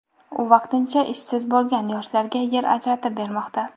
u vaqtincha ishsiz bo‘lgan yoshlarga yer ajratib bermoqda.